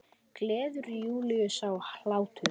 Gleður Júlíu sá hlátur.